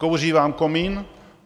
Kouří vám komín?